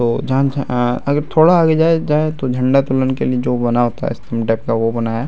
ओ झांझा अ अगर थोड़ा आगे जाए-जाए तो झंडा तोलन के लिए जो बना होता है स्तम्भ टाइप का वो बनाया है।